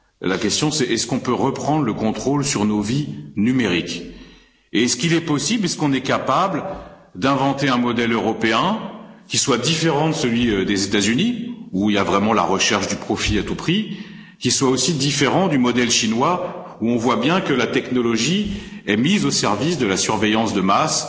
La question est la suivante peut on reprendre le contrôle sur nos vies numériques Et est il possible, est on capable d'inventer un modèle européen qui soit différent de celui des États Unis, où on remarque vraiment la recherche du profit à tout prix, et qui soit aussi différent du modèle chinois, où on voit bien que la technologie est mise au service de la surveillance de masse